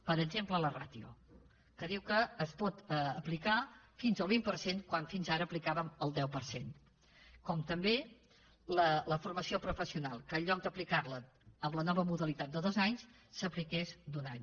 per exemple la ràtio que diu que es pot aplicar fins al vint per cent quan fins ara aplicàvem el deu per cent com també la formació professional que en lloc d’aplicar la en la nova modalitat de dos anys s’apliqués d’un any